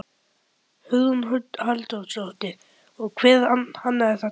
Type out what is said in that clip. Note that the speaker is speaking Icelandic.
Hugrún Halldórsdóttir: Og hver hannaði þetta?